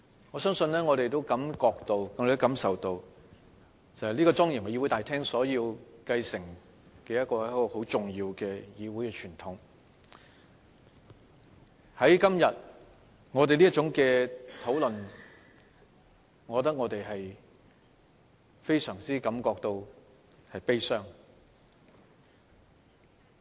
我們也感受到，這莊嚴議會大廳所要繼承的是一種很重要的議會傳統，但今天這種討論讓我們感到非常悲傷。